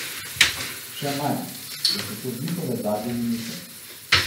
Še manj, da so to njihove zadnje minute.